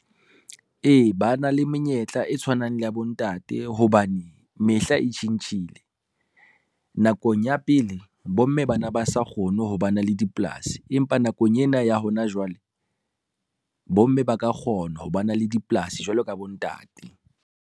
E, ba na le menyetla e tshwanang le ya bontate hobane mehla e tjhentjhile. Nakong ya pele bomme ba na ba sa kgone ho ba na le dipolasi, empa nakong ena ya hona jwale, bomme ba ka kgona ho ba na le dipolasi jwalo ka bontate.